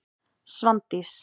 Svandís